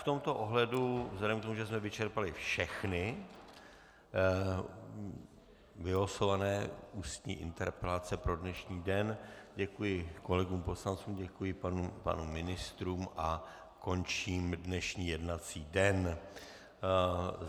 V tomto ohledu vzhledem k tomu, že jsme vyčerpali všechny vylosované ústní interpelace pro dnešní den, děkuji kolegům poslancům, děkuji pánům ministrům a končím dnešní jednací den.